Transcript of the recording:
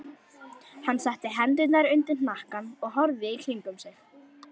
Hann setti hendurnar undir hnakkann og horfði í kringum sig.